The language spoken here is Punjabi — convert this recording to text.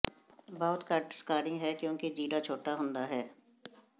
ਬਹੁਤ ਘੱਟ ਸਕਾਰਿੰਗ ਹੈ ਕਿਉਂਕਿ ਚੀਰਾ ਛੋਟਾ ਹੁੰਦਾ ਹੈ